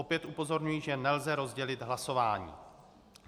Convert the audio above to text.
Opět upozorňuji, že nelze rozdělit hlasování.